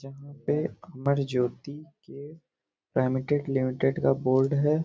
जहाँ पे अमर ज्योति के प्रिमिटेड लिमिटेड का बोर्ड है।